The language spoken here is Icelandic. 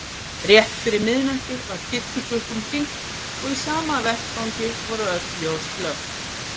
Rétt fyrir miðnætti var kirkjuklukkum hringt- og í sama vetfangi voru öll ljós slökkt.